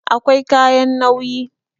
Akwai kayan nauyi